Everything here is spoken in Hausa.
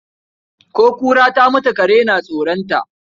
Ko kura ta mutu kare na tsoron ta.